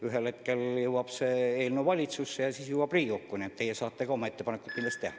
Ühel hetkel jõuab see eelnõu valitsusse ja siis ka Riigikokku, nii et teie saate ka oma ettepanekud kindlasti teha.